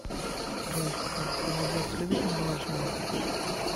джой ольга голодец любит мороженое